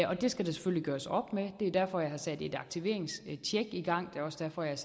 det skal der selvfølgelig gøres op med og det er derfor jeg har sat et aktiveringstjek i gang det er også derfor jeg